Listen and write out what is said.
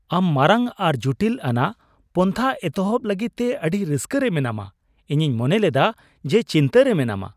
ᱟᱢ ᱢᱟᱨᱟᱝ ᱟᱨ ᱡᱩᱴᱤᱞ ᱟᱱᱟᱜ ᱯᱚᱱᱛᱷᱟ ᱮᱛᱚᱦᱚᱵ ᱞᱟᱹᱜᱤᱫ ᱛᱮ ᱟᱹᱰᱤ ᱨᱟᱹᱥᱠᱟᱹ ᱨᱮ ᱢᱮᱱᱟᱢᱟ ? ᱤᱧᱤᱧ ᱢᱚᱱᱮ ᱞᱮᱫᱟ ᱡᱮ ᱪᱤᱱᱛᱟᱹ ᱨᱮ ᱢᱮᱱᱟᱢᱟ ᱾